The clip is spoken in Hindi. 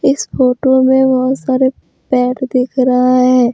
इस फोटो में बहुत सारे पेर दिख रहा हैं।